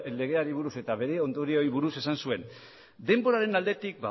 legeari buruz eta bere ondorioei buruz esan zuen denboraren aldetik